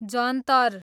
जन्तर